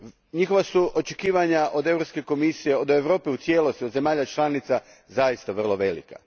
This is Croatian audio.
Njihova su očekivanja od Europske komisije, od Europe u cijelosti, od zemalja članica zaista vrlo velika.